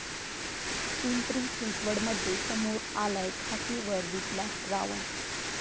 पिंपरी चिंडवडमध्ये समोर आलाय खाकी वर्दीतला रावण